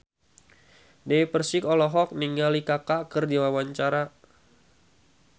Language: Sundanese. Dewi Persik olohok ningali Kaka keur diwawancara